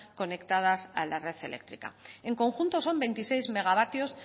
conectadas a la red eléctrica en conjunto son veintiséis megavatios